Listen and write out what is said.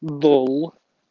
дол